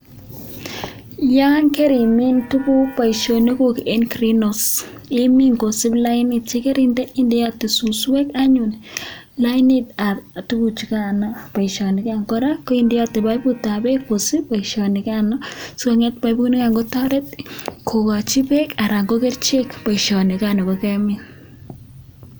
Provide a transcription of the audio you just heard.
Yan karimin tuguk Baishonik guk en green house imin kosib lainit akindeyate suswek anyun lainit ab tuguk chukano baishonikan koraa koindeyate baibut ab bek kosib baishonikano sikonget baibut nikano kotaret kokachin bek anan ko kerchek baishoni nikan nikokemin